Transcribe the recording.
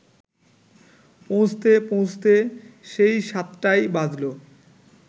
পৌঁছতে পৌঁছতে সেই সাতটাই বাজল